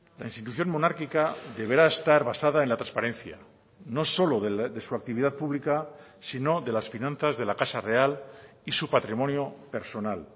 la institución monárquica deberá estar basada en la transparencia no solo de su actividad pública sino de las finanzas de la casa real y su patrimonio personal